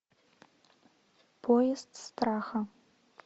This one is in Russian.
поезд страха